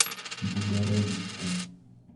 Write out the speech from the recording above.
богородицку